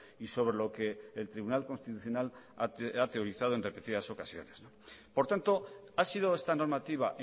y sobre lo que el tribunal constitucional ha teorizado en repetidas ocasiones por tanto ha sido esta normativa